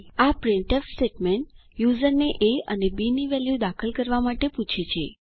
આ printf statement યુઝરને A અને બી ની વેલ્યુ દાખલ કરવા માટે પૂછે છે